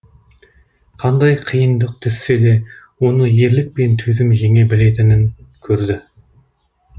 қандай қиындық түссе де оны ерлік пен төзім жеңе білетінін көрді